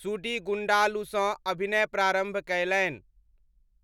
सुडीगुण्डालुसँ अभिनय प्रारम्भ कयलनि।